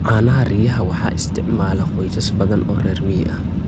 Caanaha riyaha waxaa isticmaala qoysas badan oo reer miyi ah.